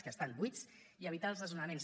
que estan buits i evitar els desnonaments